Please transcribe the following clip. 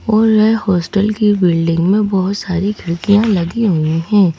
और यह हॉस्टल की बिल्डिंग में बहुत सारी खिड़कियां लगी हुई हैं।